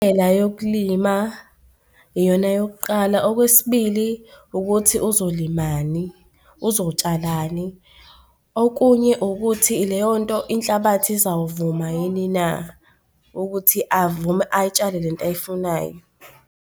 Indlela yokulima, iyona yok'qala. Okwesibili ukuthi uzolimani, uzotshalani. Okunye ukuthi leyo nto inhlabathi izawuvuma yini na ukuthi avume ayitshale lento oyifunayo.